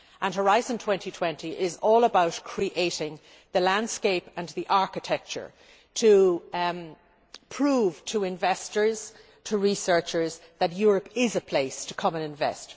Horizon 2020 is all about creating the landscape and the architecture to prove to investors and researchers that Europe is a place to come and invest.